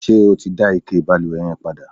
ṣé o ti dá ike ìbalùwẹ̀ yẹn padà?